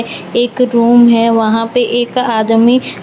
एक रूम है वहां पे एक आदमी --